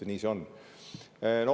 Nii see on.